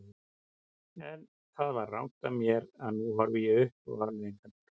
En það var rangt af mér og nú horfi ég upp á afleiðingarnar.